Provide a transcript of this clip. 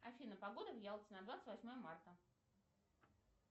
афина погода в ялте на двадцать восьмое марта